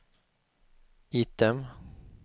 item